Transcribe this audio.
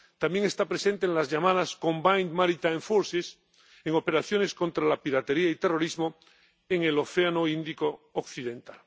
ONU. También está presente en las llamadas Combined Maritime Forces en operaciones contra la piratería y terrorismo en el Océano Índico Occidental.